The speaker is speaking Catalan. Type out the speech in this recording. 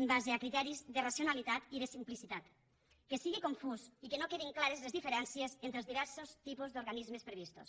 en base a criteris de racionalitat i de simplicitat que sigui confús i que no quedin clares les diferències entre els diversos tipus d’organismes previstos